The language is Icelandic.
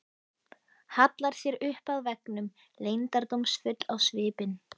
Hallar sér upp að veggnum, leyndardómsfull á svipinn.